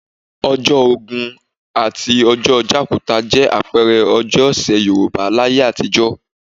Ọjọ́ Ògún àti ọjọ́ Jàkúta jẹ́ àpẹẹrẹ ọjọ́ ọ̀sẹ̀ Yorùbá láyé àtijọ́